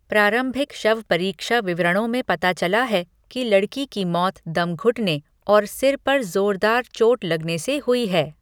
प्रारंभिक शवपरीक्षा विवरणों में पता चला है कि लड़की की मौत दम घुटने और सिर पर ज़ोरदार चोट लगने से हुई है।